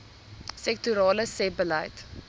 sektorale sebbeleid